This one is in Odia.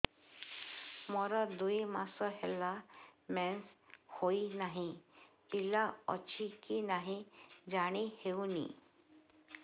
ମୋର ଦୁଇ ମାସ ହେଲା ମେନ୍ସେସ ହୋଇ ନାହିଁ ପିଲା ଅଛି କି ନାହିଁ ଜାଣି ହେଉନି